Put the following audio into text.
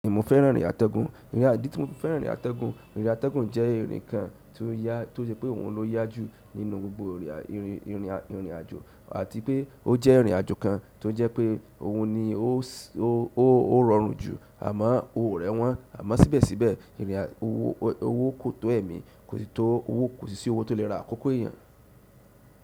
Mo fẹ́ràn ìrìn àtẹ̀gùn, ìrìn àjò tí mo fẹ́ràn ìrìn àtẹ̀gùn, ìrìn àtẹ̀gùn jẹ́ ìrìn kan tí ó yá, tí ó jẹ́ pé òun ló yá jù nínú gbogbo ìrìn, ìrìn, ìrìn àjò àti pé ó jẹ́ ìrìn àjò kan tó jẹ́ pé òun ni ó, ó, ó rọrùn jù àmọ́ ó rẹwọn àmọ́ síbẹ̀síbẹ̀ ìrìn àjò owó tó ẹ̀mí kò sì tó owó kò sì sí owó tó lè ra àkókò èèyàn.